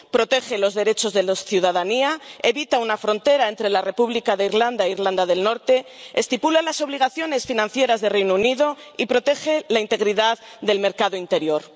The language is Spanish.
Protege los derechos de la ciudadanía, evita una frontera entre la República de Irlanda e Irlanda del Norte, estipula las obligaciones financieras del Reino Unido y protege la integridad del mercado interior.